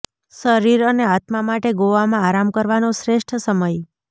શરીર અને આત્મા માટે ગોવામાં આરામ કરવાનો શ્રેષ્ઠ સમય